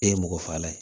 E ye mɔgɔ faga ye